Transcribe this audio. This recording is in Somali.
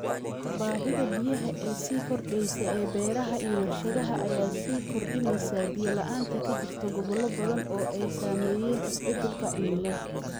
Baahida biyaha ee sii kordheysa ee beeraha iyo warshadaha ayaa sii kordhinaysa biyo la'aanta ka jirta gobollo badan oo ay saameeyeen isbeddelka cimilada.